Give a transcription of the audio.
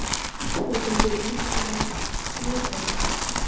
Geturðu ekki útvegað mér heróín?